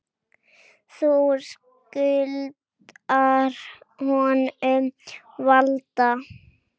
Þú skuldar honum varla.